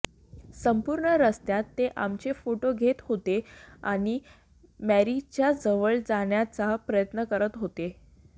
संपूर्ण रस्त्यात ते आमचे फोटो घेत होते आणि मेरीच्या जवळ जाण्याचा प्रयत्न करत होते